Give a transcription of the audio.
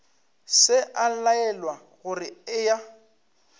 se a laelwa gore eya